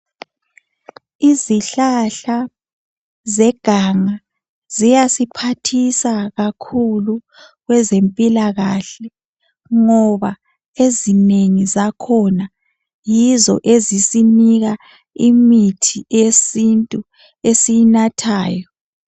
Izihlahla zeganga ziyasiphathisa kakhulu kwezempilakahle ngoba ezinengi zakhona yizo ezisinika imithi eyesintu esiyinathayo.